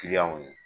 Kiliyanw ye